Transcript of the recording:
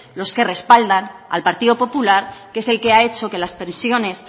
los que respaldan al partido popular que es el que ha hecho que las pensiones